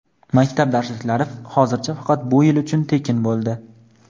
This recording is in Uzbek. Maktab darsliklari hozircha faqat bu yil uchun tekin bo‘ldi.